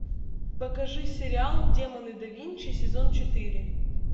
покажи сериал демоны да винчи сезон четыре